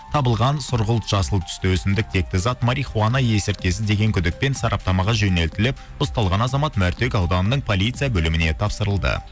табылған сұрғұлт жасыл түсті өсімдік текті зат марихуана есірткісі деген күдікпен сараптамаға жөнелтіліп ұсталған азамат мәртөк ауданының полиция бөліміне тапсырылды